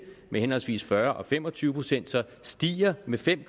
med henholdsvis fyrre procent og fem og tyve procent stiger med fem